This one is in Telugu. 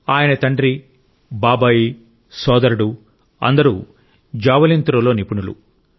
ఆయన తండ్రి బాబాయి సోదరుడు అందరూ జావెలిన్ త్రో లో నిపుణులు